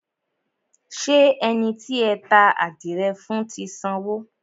Ṣé ẹni tí ẹ ta àdìrẹ fún ti sanwó?